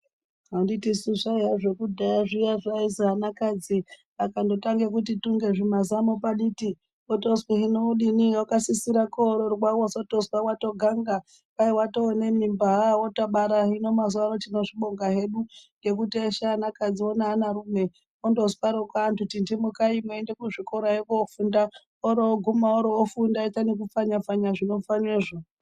Anditisu zvaiye zvekudhaya kuzi anakadzi akangotange kuti tunge zvimazamopaditi otonzwi hino odini akasira kuti koroorwa wozotozwa wotoganga ,kwai watonemimba wotobara hino mazuwano tinozvibonga hedu ngekuti eshe anakadzi neanarume Antu tindimukaimuende kuzvikorayo kofunda , oguma orofunda nekupfanya pfanya zvinopfanywazvo.